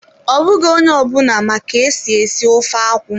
Ọ bụghị onye ọ bụla ma ka-esi esi ofe akwụ.